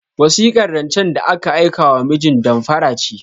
Wasikar rancen da aka aikewa mijin damfara ce.